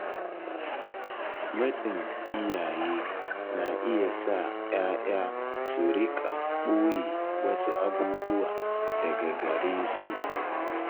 Matsin iyaye na iya sa ‘ya’ya su riƙa ɓoye wasu abubuwa daga gare su.